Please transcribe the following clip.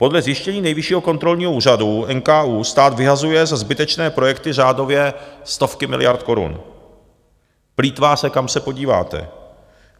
Podle zjištění Nejvyššího kontrolního úřadu, NKÚ, stát vyhazuje za zbytečné projekty řádově stovky miliard korun, plýtvá se, kam se podíváte.